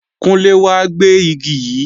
Kúnlé wá gbé Igi yí!